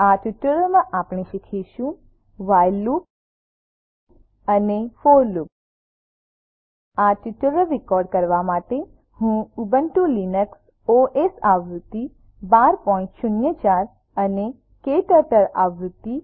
આ ટ્યુટોરીયલ માં આપણે શીખીશું વ્હાઇલ લૂપ અને ફોર લૂપ આ ટ્યુટોરીયલ રેકોર્ડ કરવા માટે હું ઉબુન્ટુ લીનક્સ ઓએસ આવૃત્તિ 1204 અને ક્ટર્ટલ આવૃત્તિ